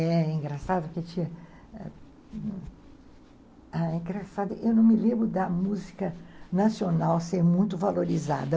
É engraçado, eu não me lembro da música nacional ser muito valorizada.